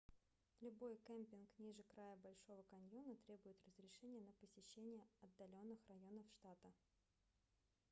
любой кемпинг ниже края большого каньона требует разрешения на посещение отдаленных районов штата